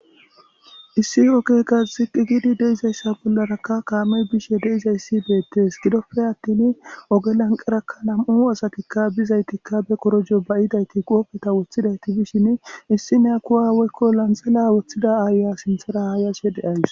issi okekka ziqigidi deizayssa bollarakka kaamey bishe deizayssi beettes gidoppe attin oge lanqerakka nam7u asatikka bizaytikka be korojo bayidayti qoopeta woththidayti bishin issi nea kuwaweykko lanxela woththida aaya sinthara hayase de'ays